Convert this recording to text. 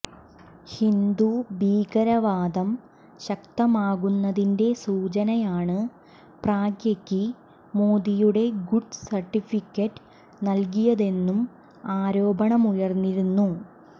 ഹിന്ദുഭീകരവാദം ശക്തമാക്കുന്നതിൻ്റെ സൂചനയാണു പ്രഗ്യക്ക് മോദിയുടെ ഗുഡ് സർട്ടിഫിക്കറ്റ് നൽകിയതെന്നും ആരോപണമുയർന്നിരുന്നു